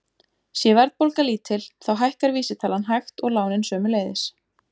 Sé verðbólga lítil þá hækkar vísitalan hægt og lánin sömuleiðis.